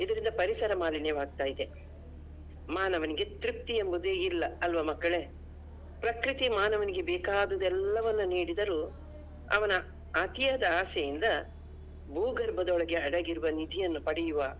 ಇದರಿಂದ ಪರಿಸರ ಮಾಲಿನ್ಯವಾಗ್ತಿದೆ. ಮಾನವನಿಗೆ ತೃಪ್ತಿ ಎಂಬುದು ಇಲ್ಲಾ ಆಲ್ವಾ ಮಕ್ಕಳೇ? ಪ್ರಕೃತಿ ಮಾನವನಿಗೆ ಬೇಕಾದುದೆಲ್ಲವನ್ನು ನೀಡಿದರೂ ಅವನ ಅತಿಯಾದ ಆಸೆಯಿಂದ ಭೂಗರ್ಭದೊಳಗೆ ಅಡಗಿರುವ ನಿಧಿಯನ್ನು ಪಡೆಯುವ.